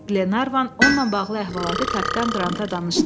Qlenarvan onunla bağlı əhvalatı Kapitan Qranta danışdı.